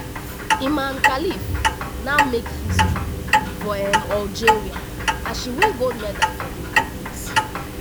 imane khelif now make history for um algeria as she win gold medal for di olympics.